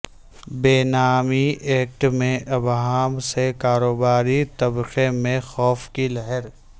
بے نامی ایکٹ میں ابہام سے کاروباری طبقے میں خوف کی لہر